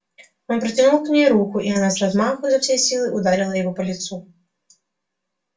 он протянул к ней руку и она с размаху изо всей силы ударила его по лицу